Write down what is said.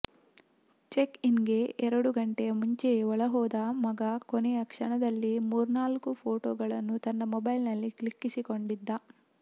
ಚೆಕ್ಇನ್ಗೆ ಎರಡು ಗಂಟೆಯ ಮುಂಚೆಯೇ ಒಳಹೋದ ಮಗ ಕೊನೆಯ ಕ್ಷಣದಲ್ಲಿ ಮೂರ್ನಾಲ್ಕು ಫೋಟೊಗಳನ್ನು ತನ್ನ ಮೊಬೈಲ್ನಲ್ಲಿ ಕ್ಲಿಕ್ಕಿಸಿಕೊಂಡಿದ್ದ